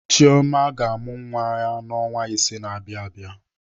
Chioma ga-amụ nwa ya n'ọnwa ise na-abịa abịa.